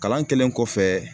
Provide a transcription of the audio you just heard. Kalan kɛlen kɔfɛ